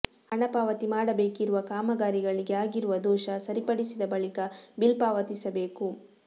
ಹಣಪಾವತಿ ಮಾಡಬೇಕಿರುವ ಕಾಮಗಾರಿಗಳಿಗೆ ಆಗಿರುವ ದೋಷ ಸರಿಪಡಿಸಿದ ಬಳಿಕ ಬಿಲ್ ಪಾವತಿಸಬೇಕು